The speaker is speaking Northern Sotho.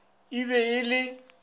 ii e be e le